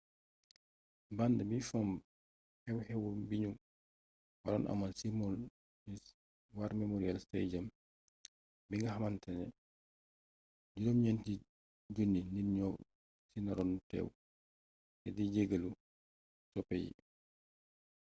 band bi fomb xew xew biñu waroon amal ci maui”s war memorial stadium bi nga xamantane 9,000 nit ñoo ci naroon teew te di jegalu soppe yi